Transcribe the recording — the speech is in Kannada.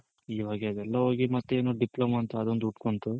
ಇವಾಗೆ ಅದೆಲ್ಲ ಹೋಗಿ ಮತ್ತೆನೋ Diploma ಅಂತ ಅದೊಂದ್ ಹುಟ್ಕೊಂತು.